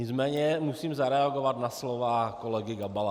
Nicméně musím zareagovat na slova kolegy Gabala.